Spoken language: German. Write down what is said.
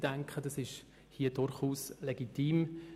Ich denke, dies ist durchaus legitim.